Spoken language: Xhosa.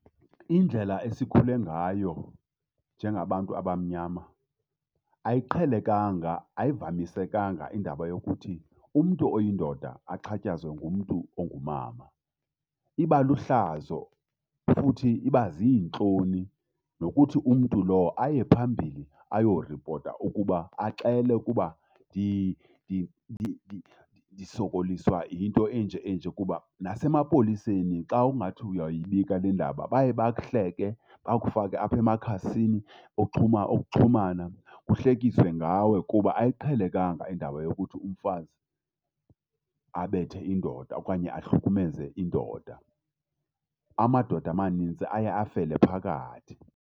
Indlela esikhule ngayo njengabantu abamnyama ayiqhelekanga. Ayivamisekanga indaba yokuthi umntu oyindoda axhatshazwe ngumntu ongumama. Iba luhlazo futhi iba ziintloni nokuthi umntu lo aye phambili ayorepota ukuba, axele ukuba ndisokoliswa yinto enje enje. Kuba nasemapoliseni xa ungathi uyoyibika lendaba baye bakuhleke, bakufake apha emakhasini oxhuma okuxhumana kuhlekiswe ngawe. Kuba ayiqhelekanga indaba yokuthi umfazi abethe indoda okanye ahlukumeze indoda. Amadoda amanintsi aye afele phakathi.